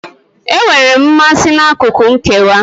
Enwere m mmasị n'akụkụ nkewa.